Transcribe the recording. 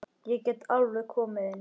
Ég get alveg komið inn.